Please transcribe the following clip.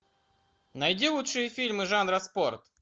найди лучшие фильмы жанра спорт